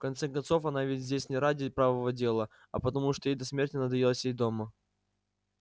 в конце концов она ведь здесь не ради правого дела а потому что ей до смерти надоело сидеть дома